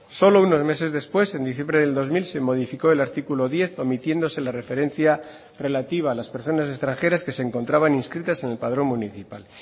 solo unos meses después en diciembre del dos mil se modificó el artículo diez omitiéndose la referencia relativa a las personas extranjeras que se encontraban inscritas en el padrón municipal